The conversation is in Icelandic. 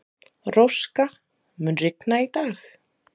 Róska, mun rigna í dag?